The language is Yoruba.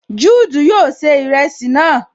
Juudu yóò ṣe ìrẹsì náà